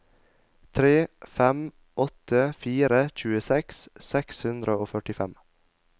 tre fem åtte fire tjueseks seks hundre og førtifem